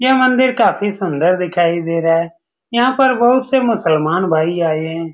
यह मंदिर काफी सुंदर दिखाई दे रहा है यहाँ पर बहुत से मुसलमान भाई आये हैं।